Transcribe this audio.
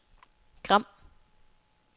Gram